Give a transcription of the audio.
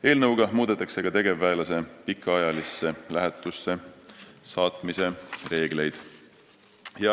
Eelnõuga muudetakse ka tegevväelase pikaajalisse lähetusse saatmise reegleid.